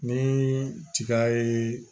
Ni tiga ye